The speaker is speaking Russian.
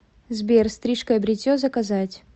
сбер стрижка и бритье заказать